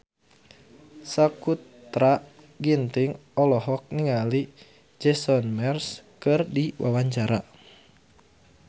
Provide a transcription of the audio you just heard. Sakutra Ginting olohok ningali Jason Mraz keur diwawancara